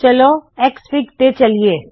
ਚਲੋ ਐਕਸਐਫਆਈਜੀ ਤੇ ਚੱਲਿਏ